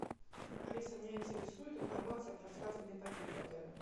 алиса меня интересует информация про свадебный пакет в отеле